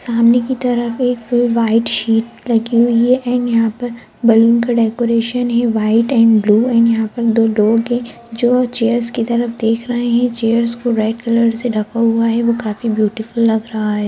सामने की तरफ एक फुल व्हाइट शीट लगी हुई है यहां पर बैलून का डेकोरेशन है व्हाइट एंड ब्लू एंड यहां पर दो लोग है चेयर्स की तरफ देख रहे है चेयर्स को रेड कलर से ढाका हुआ है वो काफी ब्यूटीफुल लग रहा है।